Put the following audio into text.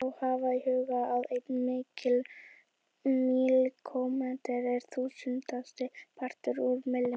Má þá hafa í huga að einn míkrómetri er þúsundasti partur úr millimetra.